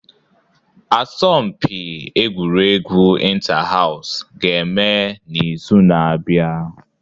Asọmpi Egwuregwu Inter-House ga-eme n'izu na-abịa